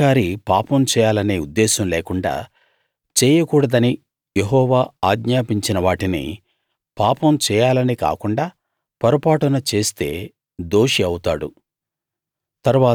ఒక అధికారి పాపం చేయాలనే ఉద్దేశం లేకుండా చేయకూడదని యెహోవా ఆజ్ఞాపించిన వాటిని పాపం చేయాలని కాకుండా పొరపాటున చేస్తే దోషి అవుతాడు